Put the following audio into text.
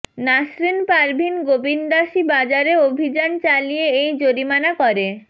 নাসরীন পারভীন গোবিন্দাসী বাজারে অভিযান চালিয়ে এই জরিমানা করে